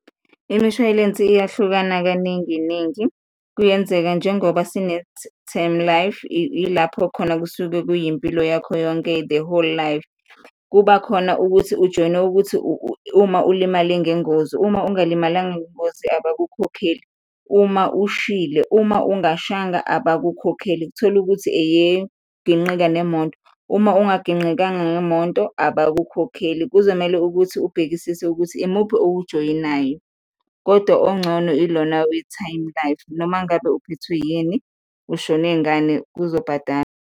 Imishwalense iyahlukana kaningi ningi, kuyenzeka njengoba sine Term Life, ilapho khona kusuke kuyimpilo yakho yonke, the whole life. Kuba khona ukuthi ujoyine ukuthi uma ulimale ngengozi, uma ungalimalanga ngengozi abakukhokheli, uma ushile, uma ungashanga abakukhokheli, thol'ukuthi eyekugingqika nemoto, uma ungagingqikanga ngemonto abakukhokheli. Kuzomele ukuthi ubhekisise ukuthi imuphi owujoyinayo kodwa ongcono ilona we-Term Life, noma ngabe uphethwe yini, ushone ngani uzobhadala.